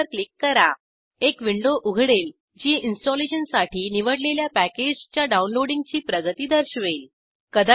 okay वर click करा एक विंडो उघडेल जी इंस्टॉलेशनसाठी निवडलेल्या पॅकेजच्या डाऊनलोडींगची प्रगती दर्शवेल